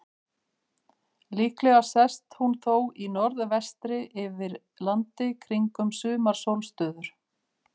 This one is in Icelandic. Líklega sest hún þó í norðvestri yfir landi kringum sumarsólstöður.